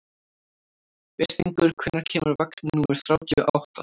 Birtingur, hvenær kemur vagn númer þrjátíu og átta?